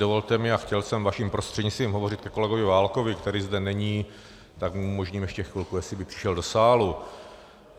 Dovolte mi, a chtěl jsem vaším prostřednictvím hovořit ke kolegovi Válkovi, který zde není, tak mu umožním ještě chvilku, jestli by přišel do sálu.